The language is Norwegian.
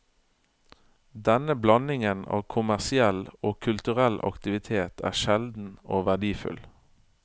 Denne blandingen av kommersiell og kulturell aktivitet er sjelden og verdifull.